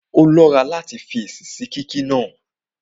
Ó lọ́ra láti fèsì sí kíkí náà